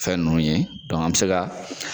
Fɛn ninnu ye, an bi se ka